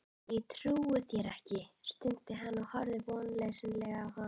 Ég trúi þér ekki, stundi hann og horfði vonleysislega á